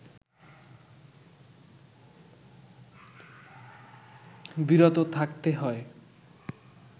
বিরত থাকতে হয়